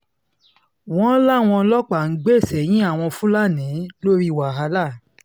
wọ́n láwọn ọlọ́pàá ń gbè sẹ́yìn àwọn fúlàní lórí wàhálà